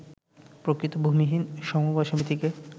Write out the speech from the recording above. প্রকৃত ভূমিহীন সমবায় সমিতিকে